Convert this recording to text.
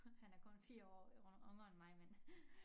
Han er kun 4 år yngre end mig men